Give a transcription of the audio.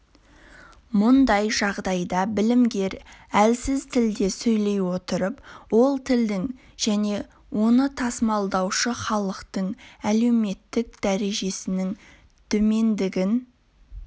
мұндай жағдайда білімгер әлсіз тілде сөйлей отырып ол тілдің және оны тасымалдаушы халықтың әлеуметтік дәрежесінің төмендігін